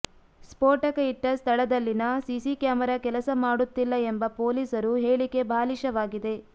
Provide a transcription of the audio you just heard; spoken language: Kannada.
ಸ್ಫೋಟಕ ಇಟ್ಟ ಸ್ಥಳದಲ್ಲಿನ ಸಿಸಿ ಕ್ಯಾಮೆರಾ ಕೆಲಸ ಮಾಡುತ್ತಿಲ್ಲ ಎಂಬ ಪೊಲೀಸರು ಹೇಳಿಕೆ ಬಾಲಿಷವಾಗಿದೆ